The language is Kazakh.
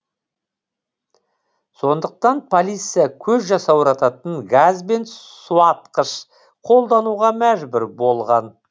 сондықтан полиция көз жасаурататын газ бен суатқыш қолдануға мәжбүр болған